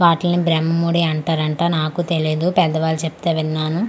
వాటిల్ని బ్రహ్మముడి అంటారంట నాకూ తెలియదు పెద్దవాళ్ళు చెప్తే విన్నాను.